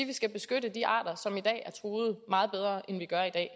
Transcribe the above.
vi skal beskytte de arter som i dag er truet meget bedre end vi gør i dag